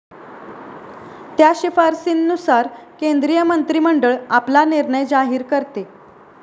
त्या शिफारसींनुसार केंद्रीय मंत्रिमंडळ आपला निर्णय जाहीर करते.